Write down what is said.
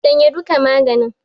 Shanye duka maganin!